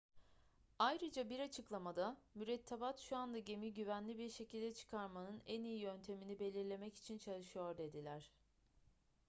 ayrıca bir açıklamada mürettebat şu anda gemiyi güvenli bir şekilde çıkarmanın en iyi yöntemini belirlemek için çalışıyor dediler